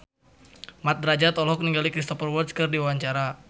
Mat Drajat olohok ningali Cristhoper Waltz keur diwawancara